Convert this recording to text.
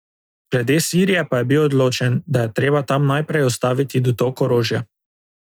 Glede Sirije pa je bil odločen, da je treba tam najprej ustaviti dotok orožja.